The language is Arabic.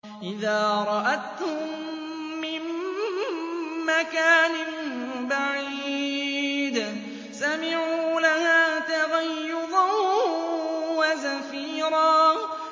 إِذَا رَأَتْهُم مِّن مَّكَانٍ بَعِيدٍ سَمِعُوا لَهَا تَغَيُّظًا وَزَفِيرًا